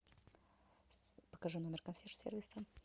покажи номер консьерж сервиса